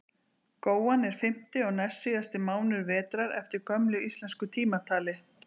góan er fimmti og næstsíðasti mánuður vetrar eftir gömlu íslensku tímatali